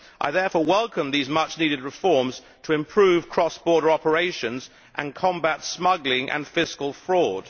I therefore welcome these much needed reforms to improve cross border operations and combat smuggling and fiscal fraud.